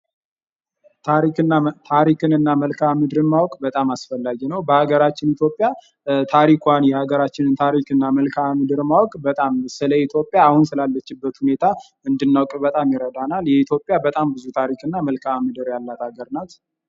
ታሪክን እና መልካምድር ማወቅ በጣም አስፈላጊ ነዉ። በአገራችን ኢትዮጵያ ታሪኳን የአገራችንን ታሪክ እና መልካምድር ማወቅ በጣም ስለ ኢትዮጵያ አሁን ስላለችበት ሁኔታ እንድናዉቅ በጣም ይረዳናል። የኢትዮጵያ በጣም ብዙ ታሪክ እና መልካምድር ያላት አገር ናት